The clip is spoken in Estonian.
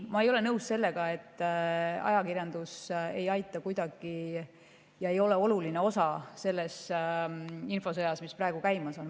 Ma ei ole nõus sellega, et ajakirjandus ei aita kuidagi ega ole oluline osa selles infosõjas, mis praegu käimas on.